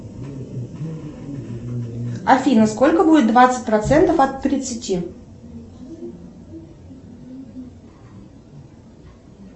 афина сколько будет двадцать процентов от тридцати